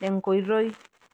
tenkoitoi